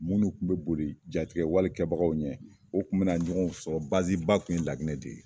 Munnu kun be boli jatigɛ wale kɛbagaw ɲɛ, o kun be na ɲɔgɔn sɔrɔ baziba kun ye laginɛ de ye.